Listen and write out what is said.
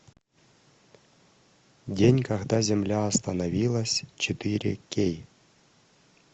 день когда земля остановилась четыре кей